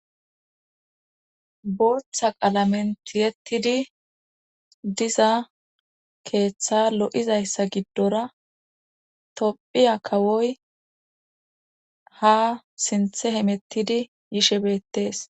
booththa qalamen tiyettidi diza keeththa lo7izayssa giddora tophiya kawoy ha sinthe hemettidi yishebeettes